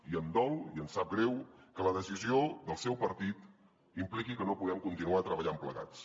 i em dol i em sap greu que la decisió del seu partit impliqui que no podem continuar treballant plegats